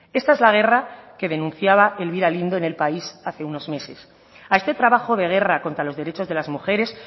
esta es la guerra que denunciaba elvira lindo en el país hace unos meses a este trabajo de guerra contra los derechos de las mujeres